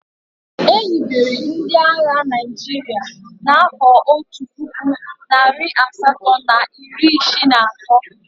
E hibere ndị agha Naịjirịa n'afọ otu puku, narị asatọ na iri isii na atọ.